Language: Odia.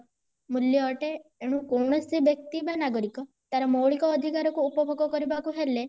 ମୂଲ୍ୟ ଅଟେ ଏଣୁ କୌଣସି ବ୍ୟକ୍ତି ବା ନାଗରିକ ତାର ମୌଳିକ ଅଧିକାର କୁ ଉପଭୋଗ କରିବାକୁ ହେଲେ